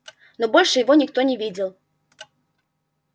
но больше его никто не видел